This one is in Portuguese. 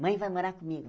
Mãe, vai morar comigo?